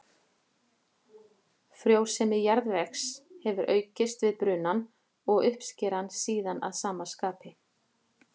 Frjósemi jarðvegs hefur aukist við brunann og uppskeran síðan að sama skapi.